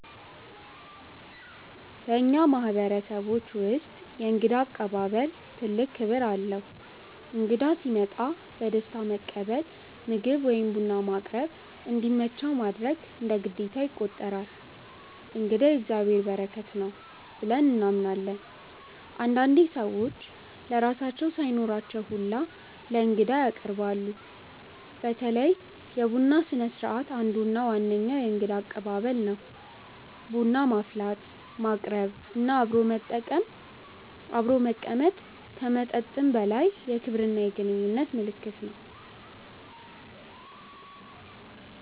በእኛ ማህበረሰቦች ውስጥ የእንግዳ አቀባበል ትልቅ ክብር አለው። እንግዳ ሲመጣ በደስታ መቀበል፣ ምግብ ወይም ቡና ማቅረብ፣ እንዲመቸው ማድረግ እንደ ግዴታ ይቆጠራል። “እንግዳ የእግዚአብሔር በረከት ነው” ብለን እናምናለን። አንዳንዴ ሰዎች ለራሳቸው ሳይኖራቸው ሁላ ለእንግዳ ያቀርባሉ። በተለይ የቡና ስነስርዓት አንዱ እና ዋነኛው የእንግዳ አቀባበል ነው። ቡና ማፍላት፣ ማቅረብ እና አብሮ መቀመጥ ከመጠጥም በላይ የክብርና የግንኙነት ምልክት ነው።